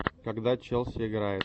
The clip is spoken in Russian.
когда челси играет